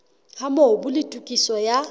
ha mobu le tokiso ya